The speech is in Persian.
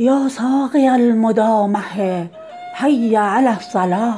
یا ساقی المدامه حی علی الصلا